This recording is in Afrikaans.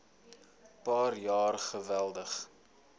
paar jaar geweldig